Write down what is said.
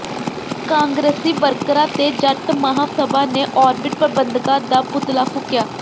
ਕਾਂਗਰਸੀ ਵਰਕਰਾਂ ਤੇ ਜੱਟ ਮਹਾਂ ਸਭਾ ਨੇ ਔਰਬਿਟ ਪ੍ਰਬੰਧਕਾਂ ਦਾ ਪੁਤਲਾ ਫੂਕਿਆ